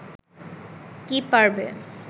কি পারবে